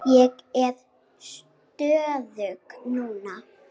Ég er stöðug núna.